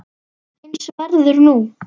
Eins verður nú.